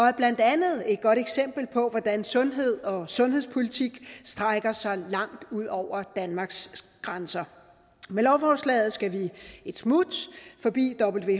er blandt andet et godt eksempel på hvordan sundhed og sundhedspolitik strækker sig langt ud over danmarks grænser med lovforslaget skal vi et smut forbi